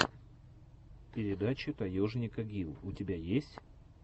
передача таежника гил у тебя есть